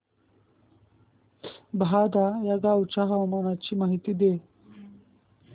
बहादा या गावाच्या हवामानाची माहिती दे